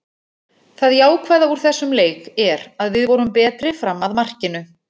Það jákvæða úr þessum leik er að við vorum betri fram að markinu.